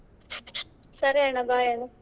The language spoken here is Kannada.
ಸರಿ ಅಣ್ಣ bye ಅಣ್ಣ.